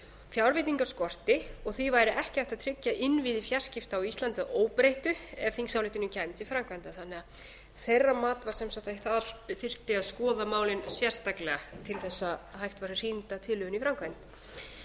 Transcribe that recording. fjárveitingar skorti og því væri ekki hægt að tryggja innviði samskipta á íslandi að óbreyttu ef þingsályktunin kæmi til framkvæmda þannig að þeirra mat var sem sagt að skoða þyrfti málin sérstaklega til að hægt væri að hrinda tillögunni í